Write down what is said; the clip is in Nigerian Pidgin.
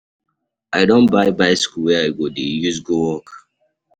I don buy bicycle wey I go dey use go work.